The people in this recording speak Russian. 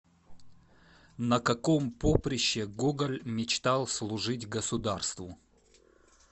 на каком поприще гоголь мечтал служить государству